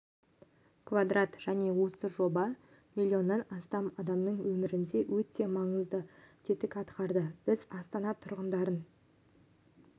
квадрат және осы жоба миллионнан астам адамның өмірінде өте маңызды тетік атқарады біз астана тұрғындарын